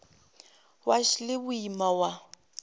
wa š le boima wa